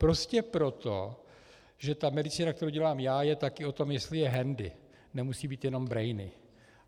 Prostě proto, že ta medicína, kterou dělám já, je taky o tom, jestli je handy, nemusí být jenom brainy.